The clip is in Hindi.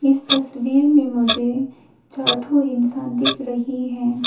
इस तस्वीर में मुझे चार ठो इंसान दिख रही है।